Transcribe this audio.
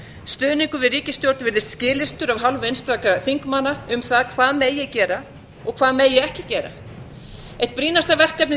stuðningur við ríkisstjórn virðist skilyrtur af hálfu einstakra þingmanna um það hvað megi gera og hvað megi ekki gera eitt brýnasta verkefnið í